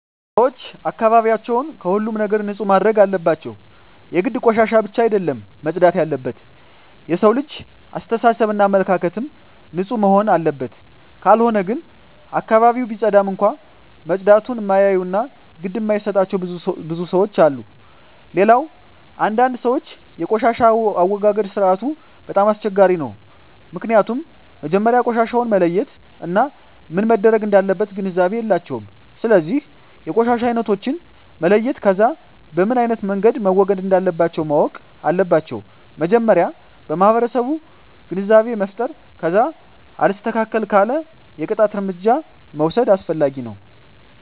ሰወች አካባቢያቸውን ከሁሉም ነገር ንፁህ ማድረግ አለባቸው የግድ ቆሻሻ ብቻ አደለም መፅዳት የለበት የሠው ልጅ አሰተሳሰብ እና አመለካከትም ንፁህ መሆንና አለበት ካልሆነ ግን አካባቢውን ቢፀዳም እንኳ መፀዳቱን እማያዮ እና ግድ እማይጣቸው ብዙ ለሠዎች አሉ። ሌላው አንዳንድ ሰወች የቆሻሻ አወጋገድ ስርዓቱ በጣም አስቸጋሪ ነው ምክኒያቱም መጀመሪያ ቆሻሻውን መለየት እና ምን መረግ እንዳለበት ግንዛቤ የላቸውም ስለዚ የቆሻሻ አይነቶችን መለየት ከዛ በምኖ አይነት መንገድ መወገድ እንለባቸው ማወቅ አለባቸው መጀመሪያ ለማህበረሰቡ ግንዛቤ መፍጠር ከዛ አልስተካክል ካለ የቅጣት እርምጃ መውስድ አስፈላጊ ነው